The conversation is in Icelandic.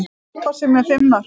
Harpa Sif með fimm mörk